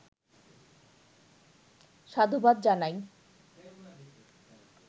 সাধুবাদ জানাই।